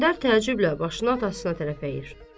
İsgəndər təcüblə başını atasına tərəf əyir.